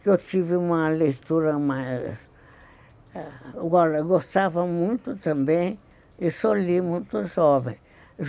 que eu tive uma leitura mais... gostava muito também, e sou ali muito jovem.